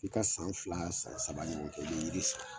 K'i ka san fila saba ɲɔgɔn kɛ i bɛ yiri san.